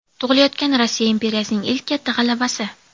Tug‘ilayotgan Rossiya imperiyasining ilk katta g‘alabasi.